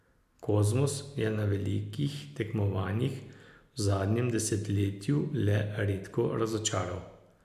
Kozmus je na velikih tekmovanjih v zadnjem desetletju le redko razočaral.